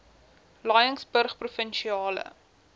laingsburgprovinsiale